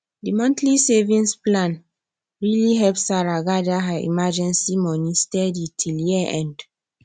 the monthly savings plan really help sarah gather her emergency money steady till year end